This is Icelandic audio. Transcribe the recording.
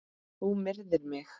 Þú myrðir mig!